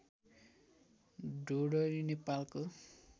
ढोढरी नेपालको